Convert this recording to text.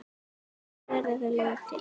Hvernig verða lög til?